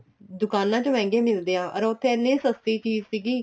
ਦੁਕਾਨਾਂ ਚ ਮਹਿੰਗੇ ਨਹੀਂ ਹੁੰਦੇ ਅਰ ਉੱਥੇ ਐਨੀਂ ਸਸਤੀ ਚੀਜ਼ ਸੀਗੀ